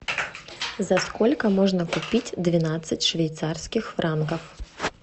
за сколько можно купить двенадцать швейцарских франков